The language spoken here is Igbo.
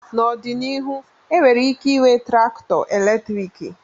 N'ọdịnihu enwere ike ịnwe traktọ eletriki.